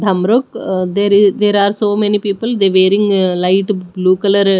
there there are so many people they wearing light blue colour--